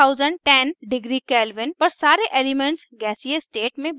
6010 degree kelvin पर सारे elements गैसीय state में बदल जाते हैं